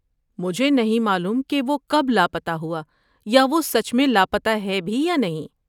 مجھے نہیں معلوم کہ وہ کب لاپتہ ہوا یا وہ سچ میں لاپتہ ہے بھی یا نہیں۔